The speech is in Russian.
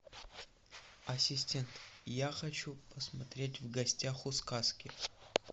ассистент я хочу посмотреть в гостях у сказки